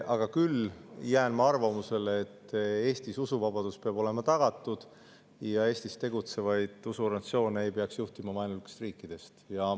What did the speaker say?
Aga küll jään ma arvamusele, et Eestis peab olema usuvabadus tagatud ja Eestis tegutsevaid usuorganisatsioone ei peaks juhitama vaenulikest riikidest.